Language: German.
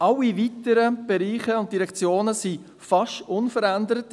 Alle weiteren Bereiche und Direktionen bleiben fast unverändert.